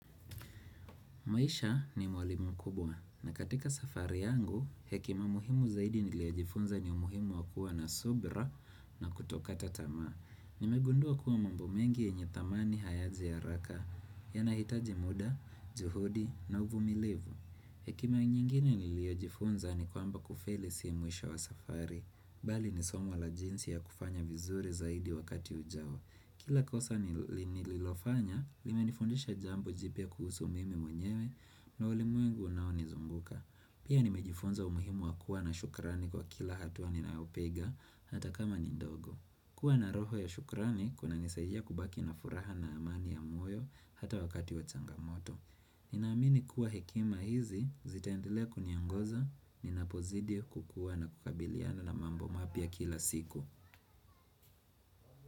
Mwisha ni mwalimu mkubwa na katika safari yangu, hekima muhimu zaidi niliojifunza ni umuhimu wa kuwa na subira na kutokata tamaa. Nimegundua kuwa mambo mengi yenye thamani hayaji haraka yanahitaji muda, juhudi na uvumilivu. Hekima nyingine niliyojifunza ni kwamba kufeli si mwisho wa safari, bali ni somo la jinsi ya kufanya vizuri zaidi wakati ujao. Kila kosa nililofanya, limenifundisha jambo jipya kuhusu mimi mwenyewe na ulimwengu unaonizunguka. Pia nimejifunza umuhimu wa kuwa na shukrani kwa kila hatua ninayopiga hata kama ni ndogo. Kuwa na roho ya shukrani, kunanisaidia kubaki na furaha na amani ya moyo hata wakati wa changamoto. Ninaamini kuwa hekima hizi, zitaendelea kuniongoza, ninapozidi kukuwa na kukabiliana na mambo mapya kila siku.